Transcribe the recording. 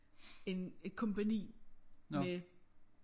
En et kompagni med